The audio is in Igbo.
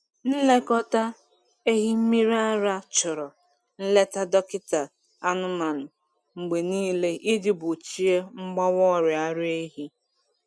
Nlekọta ehi mmiri ara chọrọ nleta dọkịta anụmanụ mgbe niile iji gbochie mgbawa ọrịa ara ehi.